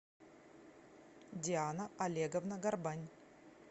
диана олеговна горбань